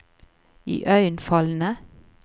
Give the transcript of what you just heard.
iøynefallende